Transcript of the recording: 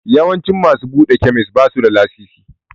Yawancin masu buɗe kemis basu da lasisi.